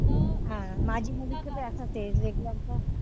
हा माझी भी मुलीच असच हाय